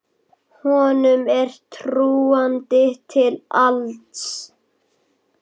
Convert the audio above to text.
Honum er trúandi til alls.